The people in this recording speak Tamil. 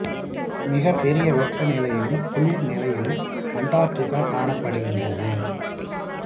மிக பொிய வெப்ப நிலையிலும் குளிா் நிலையிலும் அண்டார்டிகா காணப்படுகின்றது